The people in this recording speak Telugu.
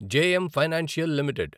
JM Financial limited